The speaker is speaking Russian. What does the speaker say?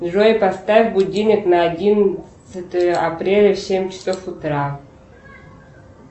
джой поставь будильник на одиннадцатое апреля в семь часов утра